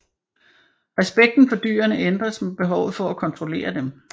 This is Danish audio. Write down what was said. Respekten for dyrene ændres med behovet for at kontrollere dem